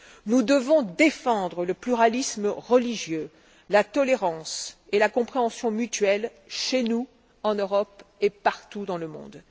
Nous devons défendre le pluralisme religieux, la tolérance et la compréhension mutuelle chez nous en Europe et partout dans le monde.